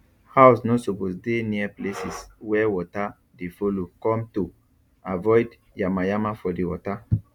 house no suppose dey near places where water dey follow cometo avoid yama yama for the water